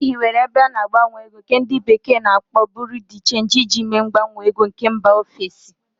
E hiwere ebe ana-agbanwe ego nke ndi bekee na-akpo Buru di Change iji mee mgbanwe ego nke mba ofesi.